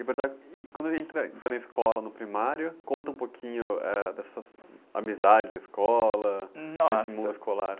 E, e quando ele entra, então, na escola, no primário, conta um pouquinho, eh, dessas amizades da escola...ossa.esse mundo escolar.